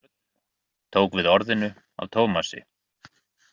Brynjar Björn tók við orðinu af Tómasi.